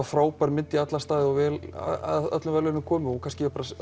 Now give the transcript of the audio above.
frábær mynd í alla staði og vel að öllum verðlaunum komin